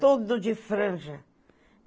Todo de franja.